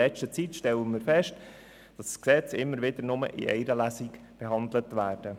In letzter Zeit stellen wir fest, dass Gesetze immer wieder in nur einer Lesung behandelt werden.